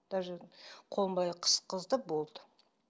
даже қолын былай қысқызды болды